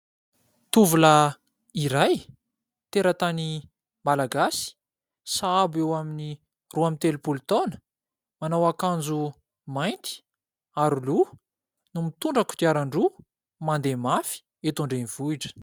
Tovolahy iray teratany Malagasy sahabo eo amin'ny roa amby telopolo taona, manao akanjo mainty, aroloha no mitondra kodiaran-droa mandeha mafy eto an-drenivohitra.